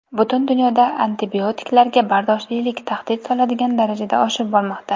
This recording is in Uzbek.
Butun dunyoda antibiotiklarga bardoshlilik tahdid soladigan darajada oshib bormoqda.